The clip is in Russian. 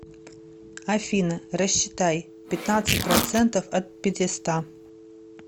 афина рассчитай пятнадцать процентов от пятиста